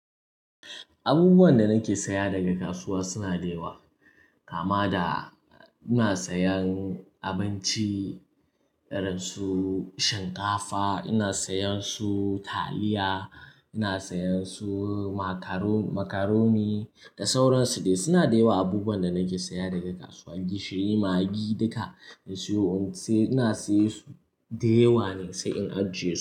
Abubuwan da nake saya daga kasuwa suna da yawa. Kama da ina sayan abinci irin su shinkafa, ina sayan su taliya, ina sayan su macaroni da sauran su dai. Suna da yawa abubuwan da nake saya daga kasuwa, gishiri, magi duka na siyo. Macaroni da sauran su dai.